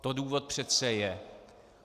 To důvod přece je.